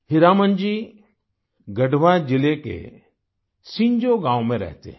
हीरामन जी गढ़वा जिले के सिंजो गाँव में रहते हैं